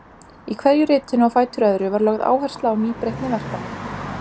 Í hverju ritinu á fætur öðru var lögð áhersla á nýbreytni verkanna.